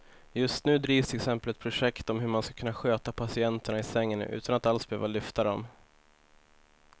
Just nu drivs till exempel ett projekt om hur man ska kunna sköta patienterna i sängen utan att alls behöva lyfta dem.